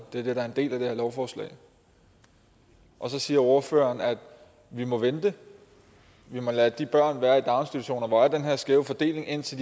det det er en del af det her lovforslag så siger ordføreren at vi må vente vi må lade de børn være i daginstitutioner hvor der er den her skæve fordeling indtil